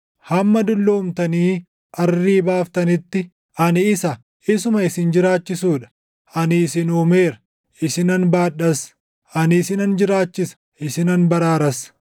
Hamma dulloomtanii arrii baaftanitti, ani isa; isuma isin jiraachisuu dha. Ani isin uumeera; isinan baadhas; ani isinan jiraachisa; isinan baraaras.